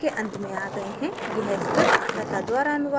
अब हम इस tutorial के अंत में आ गए हैं